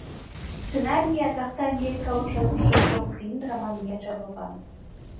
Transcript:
сценарийі атақты америкалық жазушы джон гринның романымен жазылған